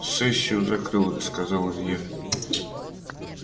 сессию закрыл сказал илья